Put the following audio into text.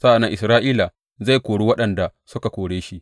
Sa’an nan Isra’ila zai kori waɗanda suka kore shi,